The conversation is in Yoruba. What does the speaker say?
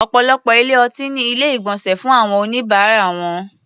Ọ̀pọ̀lọpọ̀ ilé-ọtí ní Ilé-ìgbọ̀nsẹ̀ fún àwọn oníbàárà wọn